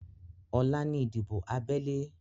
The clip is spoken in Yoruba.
Ọ̀la ni ìdìbò abẹ́lé